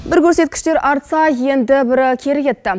бір көрсеткіштер арттса енді бірі кері кетті